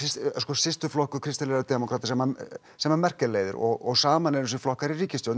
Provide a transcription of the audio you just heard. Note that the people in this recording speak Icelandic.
systurflokkur kristilegra demókrata sem sem Merkel leiðir og saman eru flokkarnir í ríkisstjórn